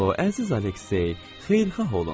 O, əziz Aleksey, xeyirxah olun!